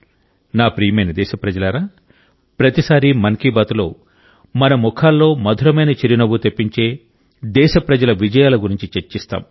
నా ప్రియమైన దేశప్రజలారా ప్రతిసారీ మన్ కీ బాత్లో మన ముఖాల్లో మధురమైన చిరునవ్వు తెప్పించే దేశప్రజల విజయాల గురించి చర్చిస్తాం